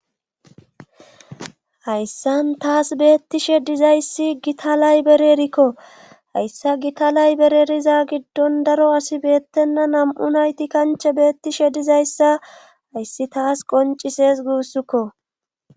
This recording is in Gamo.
hayssan taas beettishe dizayssi gitalay bererikko hayssa gitalay bereriza giddon daro asi beettenna nam7u nayti kanche beettishe dizayssa hayssi taas qoncises guussukko